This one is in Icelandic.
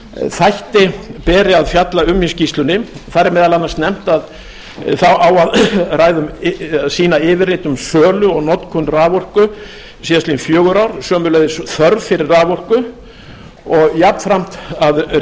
þætti beri að fjalla um í skýrslunni þar er meðal annars nefnt að þar eigi að sýna yfirlit um sölu og notkun raforku síðastliðin fjögur ár sömuleiðis þörf fyrir raforku og jafnframt að